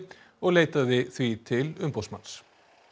og leitaði því til umboðsmanns